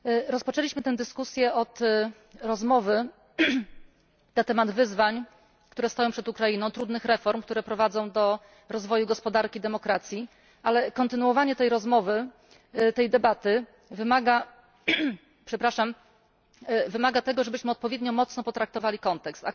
Rozpoczęliśmy tę dyskusję od rozmowy na temat wyzwań, które stoją przed Ukrainą, trudnych reform, które prowadzą do rozwoju gospodarki demokratycznej, ale kontynuowanie tej rozmowy, tej debaty wymaga tego, żebyśmy odpowiednio mocno potraktowali kontekst.